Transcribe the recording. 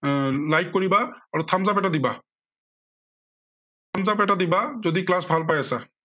এৰ like কৰিবা আৰু thumbs up এটা দিবা। thumbs up এটা দিবা যদি class ভাল পাই আছা।